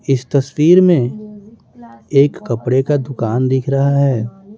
इस तस्वीर में एक कपड़े का दुकान दिख रहा है।